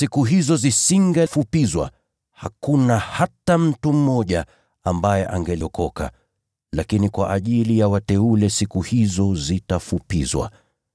Kama siku hizo zisingefupishwa, hakuna hata mtu mmoja ambaye angeokoka. Lakini kwa ajili ya wateule, siku hizo zitafupizwa.